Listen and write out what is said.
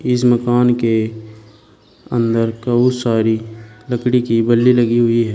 इस मकान के अंदर कऊ सारी लकड़ी की बल्ली लगी हुई है।